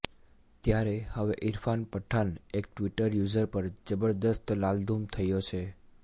ત્યારે હવે ઈરફાન પઠાણ એક ટ્વિટર યુઝર પર જબરદસ્ત લાલઘૂમ થયો છે